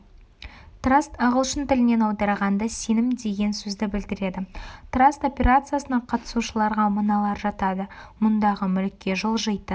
траст ағылшын тілінен аударғанда сенім деген сөзді білдіреді траст операциясына қатысушыларға мыналар жатады мұндағы мүлікке жылжитын